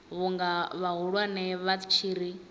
vhunga vhahulwane vha tshi ri